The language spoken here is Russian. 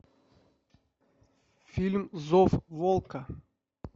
фильм зов волка